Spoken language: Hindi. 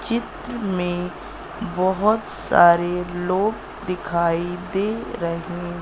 चित्र में बहोत सारे लोग दिखाई दे रहे--